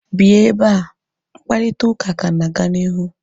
Bịa ebea!mkparịta ụka ka na-aga n'ihu